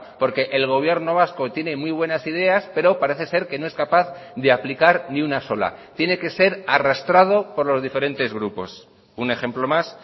porque el gobierno vasco tiene muy buenas ideas pero parece ser que no es capaz de aplicar ni una sola tiene que ser arrastrado por los diferentes grupos un ejemplo más